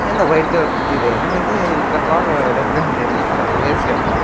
ఏందో white colour కుర్చీలేస్నారు ఐతే ఎంత బాగా డెకరేషన్ చేపిచ్చి అట్ల చేస్తే ఎట్ల.